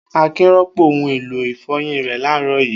Akin rọ́pò ohun-èlò ìfọyín rẹ̀ láàárọ̀ yìí.